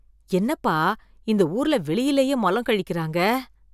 என்னப்பா, இந்த ஊர்ல வெளியலயே மலம் கழிக்கிறாங்க?